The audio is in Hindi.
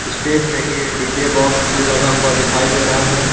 स्टेज में ही ये डी_जे बॉक्स भी लगा हुआ दिखाई दे रहा है।